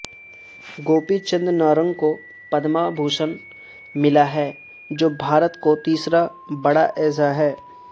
گوپی چند نارنگ کو پدما بھوشن ملا ہے جوبھارت کو تیسرا بڑا اعزا ہے